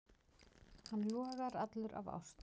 Hann logar allur af ást.